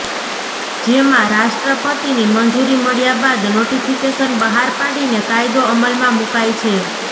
જેમાં રાષ્ટ્રપતિની મંજૂરી મળ્યા બાદ નોટીફીકેશન બહાર પાડીને કાયદો અમલમાં મૂકાય છે